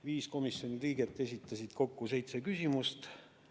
Viis komisjoni liiget esitasid kokku seitse küsimust.